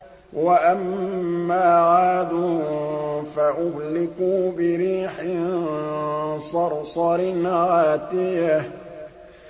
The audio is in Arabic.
وَأَمَّا عَادٌ فَأُهْلِكُوا بِرِيحٍ صَرْصَرٍ عَاتِيَةٍ